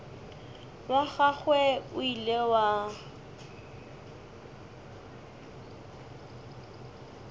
wa gagwe o ile wa